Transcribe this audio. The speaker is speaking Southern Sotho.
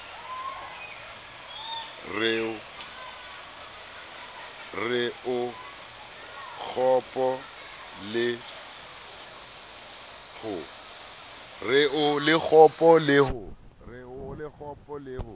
re o kgopo le ho